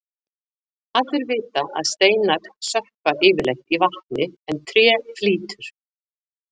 Allir vita að steinar sökkva yfirleitt í vatni en tré flýtur.